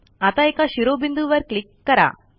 आता एका शिरोबिंदूवर क्लिक करा